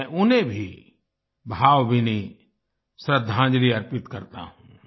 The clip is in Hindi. मैं उन्हें भी भावभीनी श्रद्धांजलि अर्पित करता हूँ